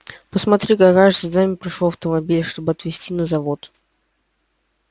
посмотри-ка кажется за нами пришёл автомобиль чтобы отвезти на завод